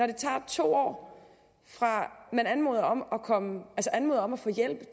det tager to år fra man anmoder om anmoder om at få hjælp